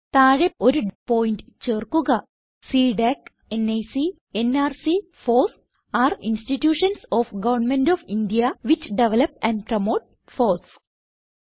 താഴെ ഒരു പോയിന്റ് ചേർക്കുക സിഡിഎസി നിക്ക് nrc FOSS are institutions of government of India which develop and promote FOSS